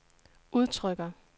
udtrykker